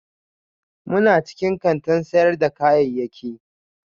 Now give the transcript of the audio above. muna cikin kantin sayar da kayayyaki